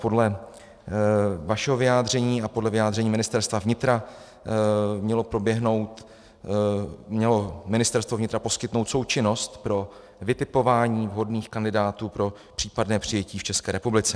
Podle vašeho vyjádření a podle vyjádření Ministerstva vnitra mělo Ministerstvo vnitra poskytnout součinnost pro vytipování vhodných kandidátů pro případné přijetí v České republice.